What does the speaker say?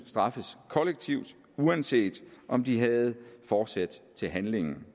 straffet kollektivt uanset om de havde forsæt til handlingen